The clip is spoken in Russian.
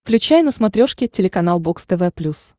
включай на смотрешке телеканал бокс тв плюс